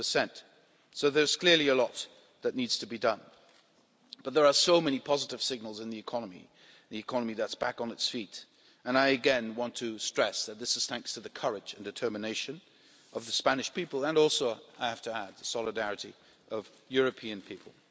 13. So there's clearly a lot that needs to be done, but there are so many positive signals in the economy the economy that's back on its feet and I again want to stress that this is thanks to the courage and determination of the Spanish people and also the solidarity of the European people